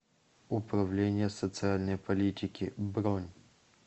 управление социальной политики бронь